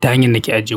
ta hanyar na ke ajiye kuɗi.